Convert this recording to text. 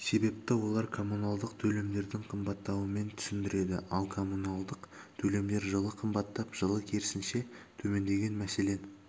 себепті олар коммуналдық төлемдердің қымбаттауымен түсіндіреді ал коммуналдық төлемдер жылы қымбаттап жылы керісінше төмендеген мәселен